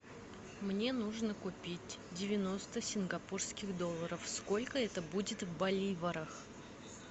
мне нужно купить девяносто сингапурских долларов сколько это будет в боливарах